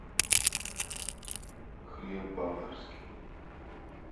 хлеб боварский